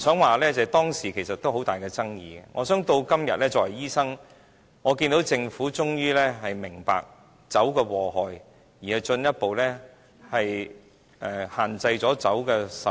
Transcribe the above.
我不想說，當時其實都有很大爭議，我相信今天，作為醫生，我看到政府終於明白酒的禍害，因而進一步限制酒的售賣。